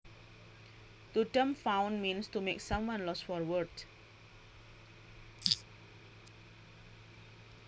To dumbfound means to make someone lost for words